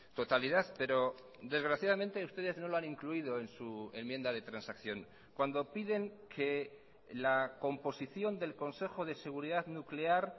totalidad pero desgraciadamente ustedes no lo han incluido en su enmienda de transacción cuando piden que la composición del consejo de seguridad nuclear